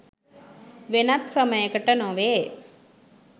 වෙනත් ක්‍රමයකට නො වේ